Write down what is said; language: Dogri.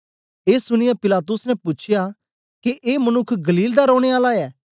ए सुनीयै पिलातुस ने पूछया के ए मनुक्ख गलील दा रौने आला ऐ